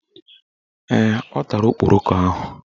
Ee, ọ tara okporoko ahụ